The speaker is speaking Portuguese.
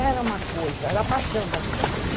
Era uma coisa, era a paixão da vida dele.